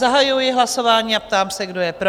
Zahajuji hlasování a ptám se, kdo je pro?